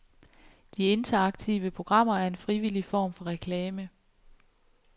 De interaktive programmer er en frivillig form for reklame.